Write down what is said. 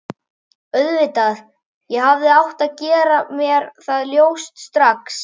Auðvitað, ég hefði átt að gera mér það ljóst strax.